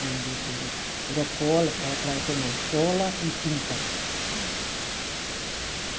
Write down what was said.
Na indústria de. Era cola, era para automóvel cola e tinta. Uhum